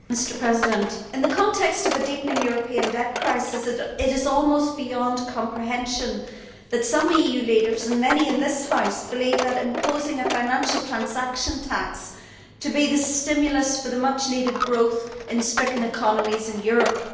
Mr President, in the context of a deepening European debt crisis, it is almost beyond comprehension that some EU leaders, and many in this House, believe the imposition of a financial transaction tax to be the stimulus for much needed growth in stricken economies in Europe.